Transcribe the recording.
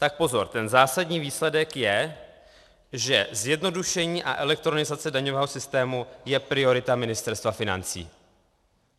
Tak pozor, ten zásadní výsledek je, že zjednodušení a elektronizace daňového systému je priorita Ministerstva financí.